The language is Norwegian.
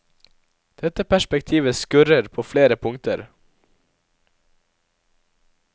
Dette perspektivet skurrer på flere punkter.